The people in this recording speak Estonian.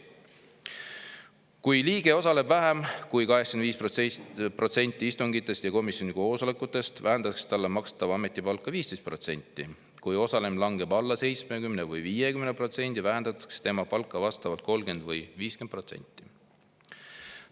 "Kui liige osaleb vähem kui 85% istungitest ja komisjoni koosolekutest, vähendatakse talle makstavat ametipalka 15%; kui osalemine langeb alla 70% või 50%, vähendatakse tema palka vastavalt 30% või 50%.